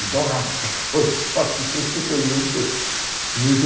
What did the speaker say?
De tão rápido que foi o assunto, foi muito muito